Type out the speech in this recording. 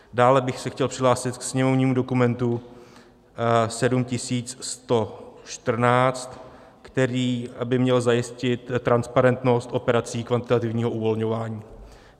Dále bych se chtěl přihlásit k sněmovnímu dokumentu 7114, který by měl zajistit transparentnost operací kvantitativního uvolňování.